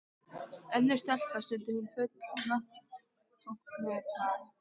Önnur stelpa, stundi hún full vanþóknunar.